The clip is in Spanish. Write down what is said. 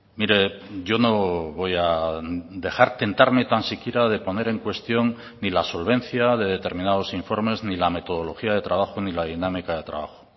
mire yo no voy a dejar tentarme tan siquiera de poner en cuestión ni la solvencia de determinados informes ni la metodología de trabajo ni la dinámica de trabajo